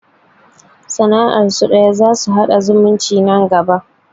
Sana'ar su ɗaya, za su haɗa zumunci nan gaba